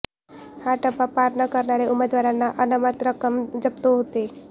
हा टप्पा पार न करणाऱ्या उमेदवारांची अनामत रक्कम जप्त होते